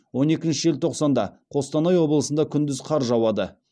он екінші желтоқсанда қостанай облысында күндіз қар жауады